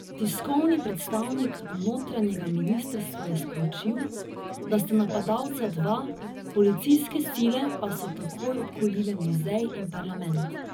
Tiskovni predstavnik notranjega ministrstva je sporočil, da sta napadalca dva, policijske sile pa so takoj obkolile muzej in parlament.